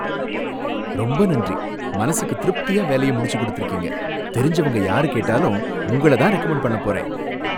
ரொம்ப நன்றி! மனசுக்கு திருப்தியா வேலைய முடிச்சு கொடுத்திருக்கீங்க, தெரிஞ்சவங்க யாரு கேட்டாலும் உங்கள தான் ரெக்கமண்ட் பண்ணப் போறேன்.